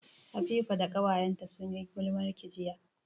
Habiba da ƙawayenta sun yi gulmarki jiya